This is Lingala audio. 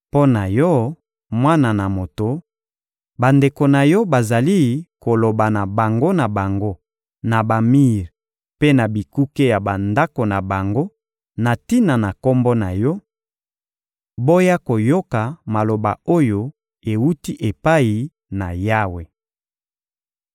Mpo na yo, mwana na moto, bandeko na yo bazali kolobana bango na bango na bamir mpe na bikuke ya bandako na bango na tina na kombo na yo: ‹Boya koyoka maloba oyo ewuti epai na Yawe!›